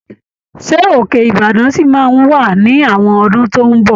Ṣé Òkè-Ìbàdàn ṣì máa wà ní àwọn ọdún tó ń bọ̀?